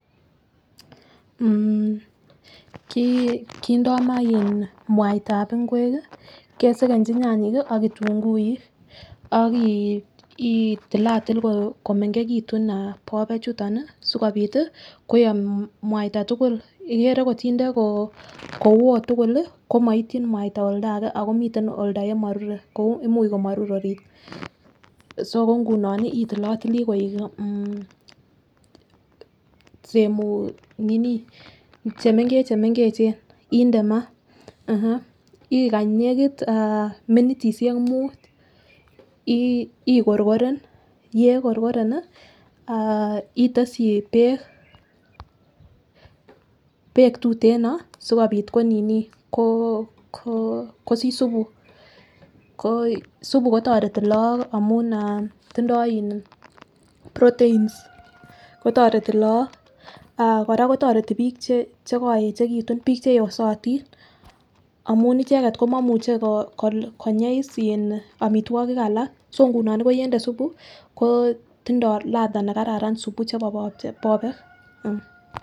Kindo maah mwaitab ngwek, kesekenji nyanyik ak kitunguik ak itilatil komengekitun bobet chuton sikobit koyom mwaita tugul. Ikere kotinde kowo tugul komoityin mwaita oldge ako miten oldo yemorure kou imuch orit. So ko nguno itilotili koik chemengechchemengechen ak inde maa, ikany nekit minitisiek muut ikorkoren, yekorkoren ii itesyi beek tuteno sikobit kosich supu; supu kotoreti lagok amun tindo proteins, kotoreti lagok, kora kotoreti bik chekoyechekitun, bik cheyosen amun icheget komomuche konyei omitwogik alak so nguno yende supu kotindo ladha nekararan supu chebo bobek.